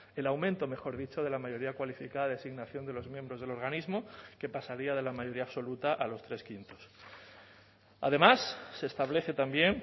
el aumento mejor dicho de la mayoría cualificada designación de los miembros del organismo que pasaría de la mayoría absoluta a los tres quintos además se establece también